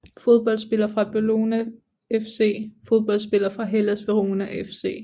Fodboldspillere fra Bologna FC Fodboldspillere fra Hellas Verona FC